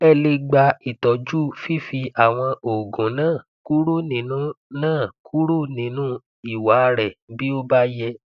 ẹ lè gba itọju fífi àwọn oògùn náà kúrò nínú náà kúrò nínú ìwà rẹ bí ó bá yẹ